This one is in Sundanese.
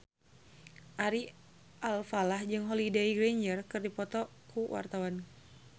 Ari Alfalah jeung Holliday Grainger keur dipoto ku wartawan